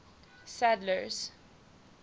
sadler's